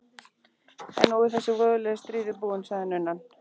En nú er þessi voðalegi stríður búinn, sagði nunnan.